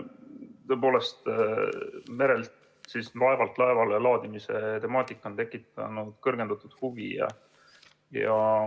Tõepoolest, merelt laevalt laevale laadimise temaatika on tekkinud kõrgendatud huvi.